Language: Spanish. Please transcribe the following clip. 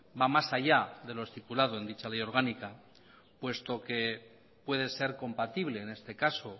va más allá de lo estipulado en dicha ley orgánica puesto que puede ser compatible en este caso